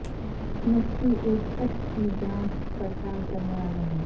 مکھی ایک چھت کی جانچ پڑتال کرنے والا ہے